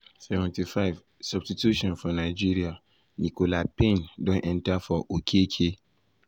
75’ substitution for nigeria nicola payne um don enta for okeke.